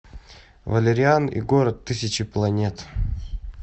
валериан и город тысячи планет